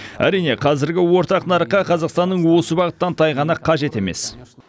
әрине қазіргі ортақ нарыққа қазақстанның осы бағыттан тайғаны қажет емес